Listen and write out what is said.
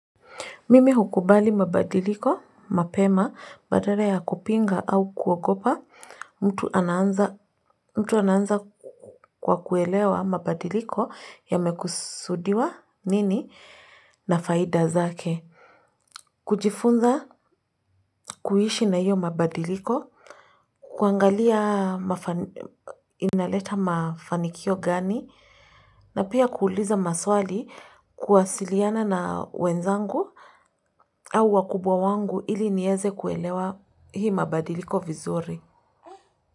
Mimi hukubali mabadiliko, mapema, badala ya kupinga au kuogopa, mtu ananza kwa kuelewa mabadiliko yamekusudiwa nini na faida zake. Kujifunza kuiishi na hiyo mabadiliko, kuangalia inaleta mafanikio gani, na pia kuuliza maswali kuwasiliana na wenzangu au wakubwa wangu ili niweze kuelewa hii mabadiliko vizuri.